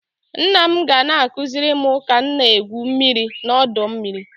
Nna m ga na-akụziri m ka m na-egwu mmiri n'ọdọ mmiri